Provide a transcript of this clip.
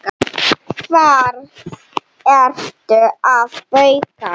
Hvað ertu að bauka?